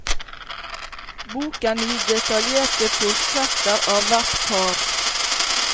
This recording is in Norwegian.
Boken gir detaljerte portretter av hvert par.